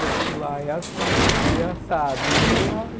Bom, se lá é assim, aqui é assado.